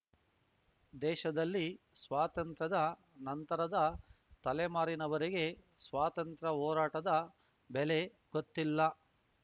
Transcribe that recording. ದೇಶದಲ್ಲಿ ಸ್ವಾತಂತ್ರ್ಯದ ನಂತರದ ತಲೆಮಾರಿನವರಿಗೆ ಸ್ವಾತಂತ್ರ್ಯ ಹೋರಾಟದ ಬೆಲೆ ಗೊತ್ತಿಲ್ಲ